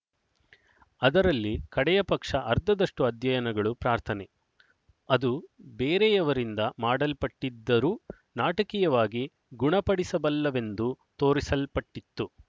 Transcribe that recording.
ಅದರಲ್ಲಿ ಕಡೆಯ ಪಕ್ಷ ಅರ್ಧದಷ್ಟು ಅಧ್ಯಯನಗಳು ಪ್ರಾರ್ಥನೆ ಅದು ಬೇರೆಯವರಿಂದ ಮಾಡಲ್ಪಟ್ಟಿದ್ದರೂ ನಾಟಕೀಯವಾಗಿ ಗುಣಪಡಿಸಬಲ್ಲವೆಂದು ತೋರಿಸಲ್ಪಟ್ಟಿತು